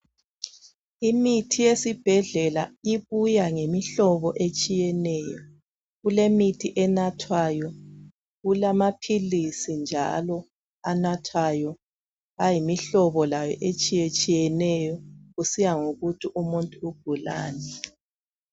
Imithi yesibhedlela ibuya ngemihlobo etshiyeneyo. Kulemithi enathwayo, kulamaphilizi njalo anathwayo ayimihlobo layo etshiyatshiyeneyo kusiya ngokuthi umuntu ugulani.